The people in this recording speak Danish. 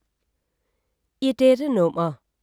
I dette nummer